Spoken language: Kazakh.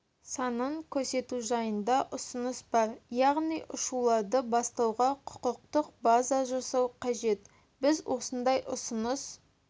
санын көрсету жайында ұсыныс бар яғни ұшуларды бастауға құқықтық база жасау қажет біз осындай ұсыныс